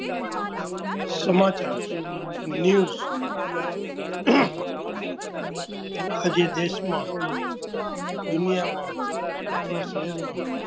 સમાચાર NEWS આજે દેશમાં, દુનિયામાં, આપણા શહેરમાં